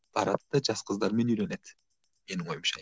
барады да жас қыздармен үйленеді менің ойымша